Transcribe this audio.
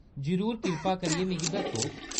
जरूर, कृपा करियै मिगी दस्सो।